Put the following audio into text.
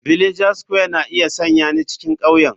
Villager square na iya sanya ni cikin ƙauyen.